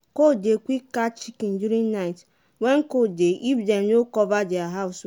cold dey quick catch chicken during night when cold dey if dem no cover their house well.